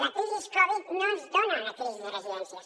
la crisi covid no ens dona una crisi de residències